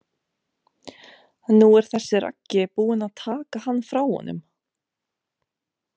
Nú er þessi Raggi búinn að taka hann frá honum.